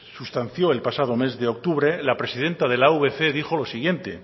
sustanció el pasado mes de octubre la presidente de la avc dijo lo siguiente